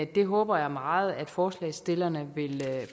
det håber jeg meget at forslagsstillerne vil